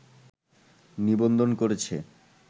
নিবন্ধন করেছে